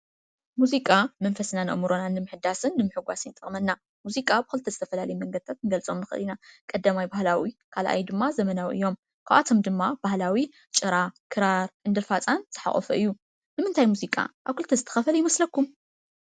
ሙዚቃ መንፈስናን አእምሮናን ንምሕዳስን ንምህጎስን ይጠቅመና። ሙዚቃ ኣብ ክልተ ዝተፈላለዩ መንገዲታት ክንገልፆም ንኽእል ኢና ።ቀዳማይ ባህላዊ ካልአይ ዘመናዊ እዮም። ካብአቶም ድማ ባህላዊ ጭራ፣ ክራር፣ ዕንድር ፋፃን ዝሓቆፈ እዩ። ንምንታይ ሙዚቃ አብ ክልተ ዝተኸፈለ ይመሰለኩም ?